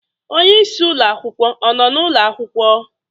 Onye isi ụlọ akwụkwọ ọ nọ n'ụlọ akwụkwọ?